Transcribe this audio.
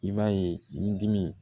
I b'a ye ni dimi